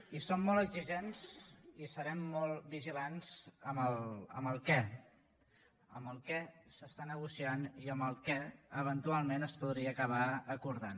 i som molt exigents i serem molt vigilants amb el què amb què s’està negociant i amb què eventualment es podria acabar acordant